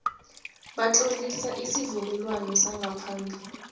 batlolisa isivumelwano sangaphambi